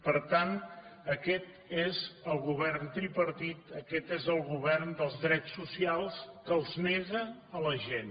per tant aquest és el govern tripartit aquest és el govern dels drets socials que els nega a la gent